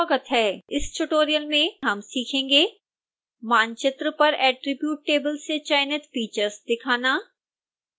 इस tutorial में हम सीखेंगे